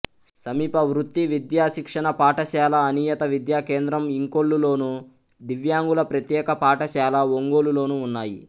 సమీప వృత్తి విద్యా శిక్షణ పాఠశాల అనియత విద్యా కేంద్రం ఇంకొల్లులోను దివ్యాంగుల ప్రత్యేక పాఠశాల ఒంగోలు లోనూ ఉన్నాయి